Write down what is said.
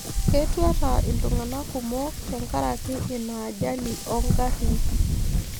Ketuata iltung'anak kumok tengaraki ina ajali oongarrin